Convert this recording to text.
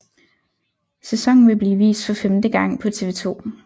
Sæsonen vil blive vist for femte gang på TV 2